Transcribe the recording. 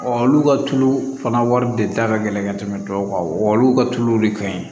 olu ka tulu fana wari de ta ka gɛlɛn ka tɛmɛ tɔw kan olu ka tuluw de ka ɲi